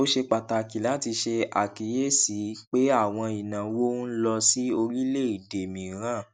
ó ṣe pàtàkì láti ṣàkíyèsí pé àwọn ìnáwó ń lọ sí orílẹèdè mìíràn